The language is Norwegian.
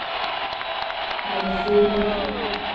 Melfjordbotn